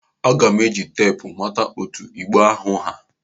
Aga m eji teepu mata etu igbe ahụ ha.